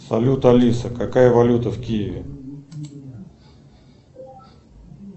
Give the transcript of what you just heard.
салют алиса какая валюта в киеве